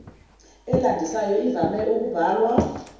elandisayo ivame ukubhalwa